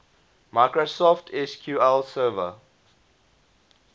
microsoft sql server